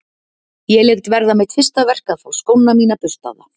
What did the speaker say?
Ég lét verða mitt fyrsta verk að fá skóna mína burstaða.